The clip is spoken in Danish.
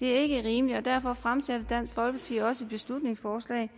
det er ikke rimeligt og derfor fremsatte dansk folkeparti også et beslutningsforslag